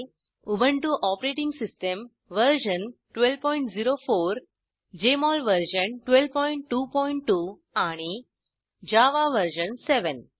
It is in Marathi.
Ubuntu OS version 1204 Jmol version 1222 आणि जावा वर्जन 7